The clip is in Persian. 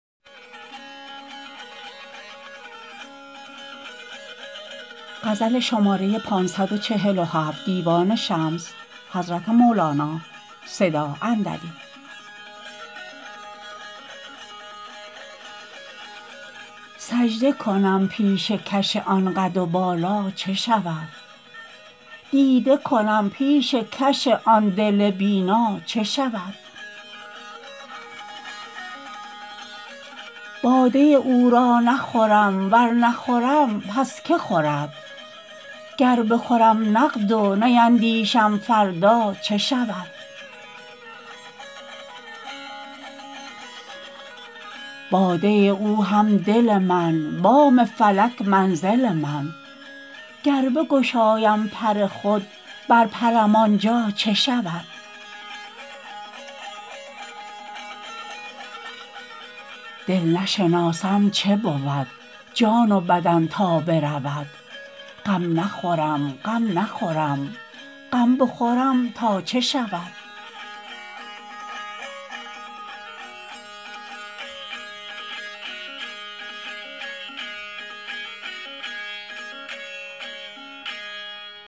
سجده کنم پیشکش آن قد و بالا چه شود دیده کنم پیشکش آن دل بینا چه شود باده او را نخورم ور نخورم پس که خورد گر بخورم نقد و نیندیشم فردا چه شود باده او هم دل من بام فلک منزل من گر بگشایم پر خود برپرم آن جا چه شود دل نشناسم چه بود جان و بدن تا برود غم نخورم غم نخورم غم نخورم تا چه شود